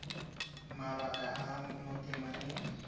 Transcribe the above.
mabaka a a mo temeng